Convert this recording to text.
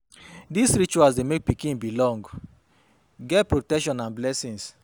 These rituals de make pikin belong get protection and blessings